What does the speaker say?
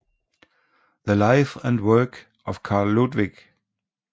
The Life and Work of Carl Ludwig